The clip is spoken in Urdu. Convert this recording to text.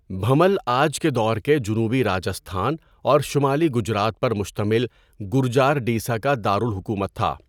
بھنمل آج کے دور کے جنوبی راجستھان اور شمالی گجرات پر مشتمل گُرجارڈیسا کا دارالحکومت تھا۔